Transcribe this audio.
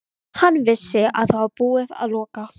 Hann vissi að það var búið að loka